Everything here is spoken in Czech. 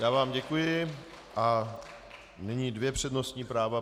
Já vám děkuji a nyní dvě přednostní práva.